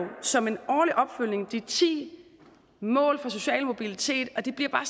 som en årlig opfølgning har de ti mål for social mobilitet og det bliver bare